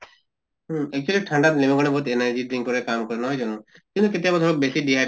উম actually ঠান্ডাত লেমু পানী বহুত energy drink অৰে কাম কৰে নহয় জানো? কিন্তু কেতিয়াবা ধৰক বেছি dehydration